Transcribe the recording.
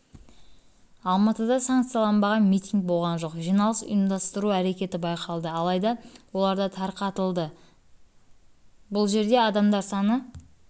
алматыда санкцияланбаған митинг болған жоқ жиналыс ұйымдастыру әрекеті байқалды алайда оларда тарқатытылды бұл жерде адамдар саны